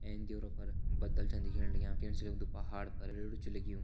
एंच द्योरो पर बदल छन दिखेण लग्यां दिखेण से लगदु पहाड़ पर छ लग्युं।